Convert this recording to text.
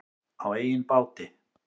Á eigin báti.